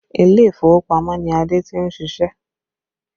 Ilé ìfowópamọ́ ni ade tí ń siṣẹ́